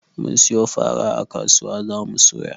Mun siyo fara a kasuwa za mu soya.